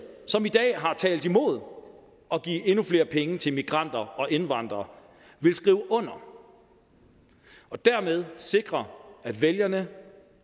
som i dag har talt imod at give endnu flere penge til migranter og indvandrere vil skrive under og dermed sikre at vælgerne